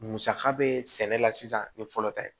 Musaka bɛ sɛnɛ la sisan ni fɔlɔ tɛ